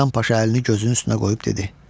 Hasan Paşa əlini gözünün üstünə qoyub dedi: